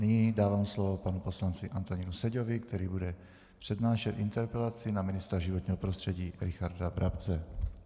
Nyní dávám slovo panu poslanci Antonínu Seďovi, který bude přednášet interpelaci na ministra životního prostředí Richarda Brabce.